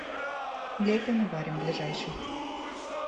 лепим и варим ближайший